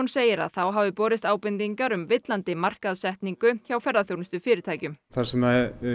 segir að þá hafi borist ábendingar um villandi markaðssetningu hjá ferðaþjónustufyrirtækjum þar sem